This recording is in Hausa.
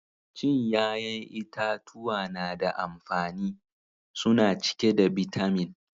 Cin yayan itatuwa na da amfani. Suna cike da bitamin